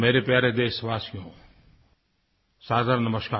मेरे प्यारे देशवासियो सादर नमस्कार